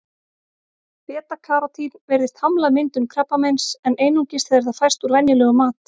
Beta-karótín virðist hamla myndun krabbameins, en einungis þegar það fæst úr venjulegum mat.